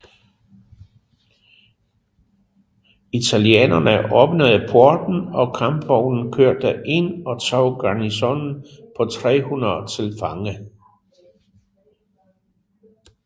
Italienerne åbnede porten og kampvognen kørte ind og tog garnisonen på 300 til fange